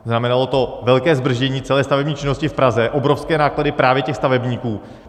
Znamenalo to velké zdržení celé stavební činnosti v Praze, obrovské náklady právě těch stavebníků.